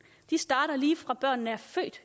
de starter lige fra børnene er født